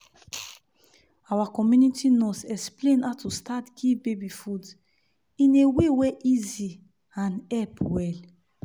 our community nurse explain how to start give baby food in a way wey easy and help well.